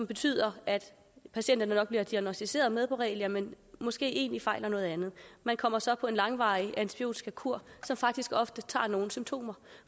betyder at patienterne nok bliver diagnosticeret med borrelia men måske egentlig fejler noget andet man kommer så på en langvarig antibiotikakur som faktisk ofte tager nogle symptomer